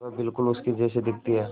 वह बिल्कुल उसके जैसी दिखती है